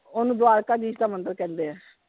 ਓਹਨੂੰ ਦਵਾਰਕਾ ਦੀਸ਼ ਦਾ ਮੰਦਿਰ ਕਹਿੰਦੇ ਆ।